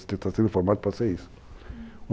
Você está sendo formado para ser isso.